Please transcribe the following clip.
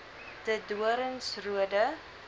de doorns roode